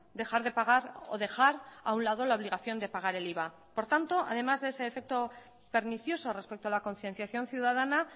dejar de pagar o dejar a un lado la obligación de pagar el iva por tanto además de ese efecto pernicioso respecto a la concienciación ciudadana